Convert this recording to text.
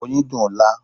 Oyin dùn-ún lá.